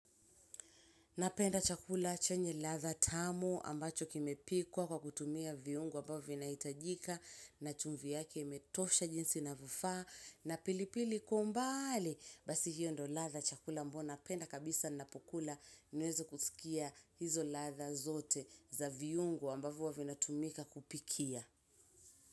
Napenda chakula chenye ladha tamu ambacho kimepikwa kwa kutumia viungo ambavyo vinahitajika na chumvi yake imetosha jinsi inavyofaa na pilipili kwa umbali basi hiyo ndo ladha chakula ambayo napenda kabisa napokula niweze kusikia hizo ladha zote za viungo ambavyo huwa vinatumika kupikia.